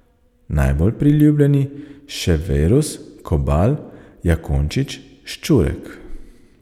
Najbolj priljubljeni še Verus, Kobal, Jakončič, Ščurek.